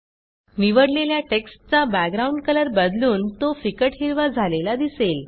निवडलेल्या टेक्स्टचा background colour बदलून तो फिकट हिरवा झालेला दिसेल